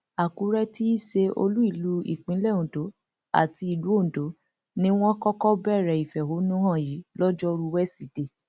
àkùrẹ tí í ṣe olú ìlú ìpínlẹ ondo àti ìlú ondo ni wọn kọkọ bẹrẹ ìfẹhónú hàn yìí lọjọrùú wẹsídẹẹ